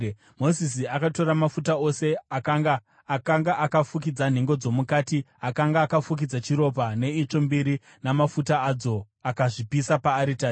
Mozisi akatora mafuta ose akanga akafukidza nhengo dzomukati, akanga akafukidza chiropa, neitsvo mbiri namafuta adzo, akazvipisa paaritari.